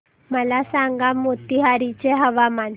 मला सांगा मोतीहारी चे हवामान